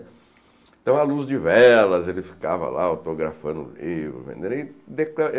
Então, à luz de velas, ele ficava lá, autografando o livro, vendendo e